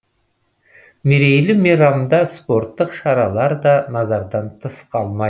мерейлі мейрамда спорттық шаралар да назардан тыс қалмайды